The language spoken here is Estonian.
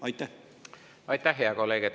Aitäh, hea kolleeg!